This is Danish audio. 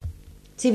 TV 2